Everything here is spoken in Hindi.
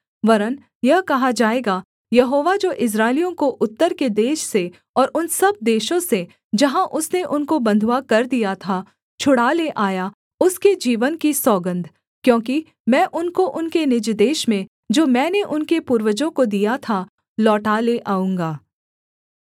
वरन् यह कहा जाएगा यहोवा जो इस्राएलियों को उत्तर के देश से और उन सब देशों से जहाँ उसने उनको बँधुआ कर दिया था छुड़ा ले आया उसके जीवन की सौगन्ध क्योंकि मैं उनको उनके निज देश में जो मैंने उनके पूर्वजों को दिया था लौटा ले आऊँगा